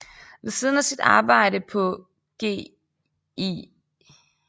Ved siden af sit arbejde på Gl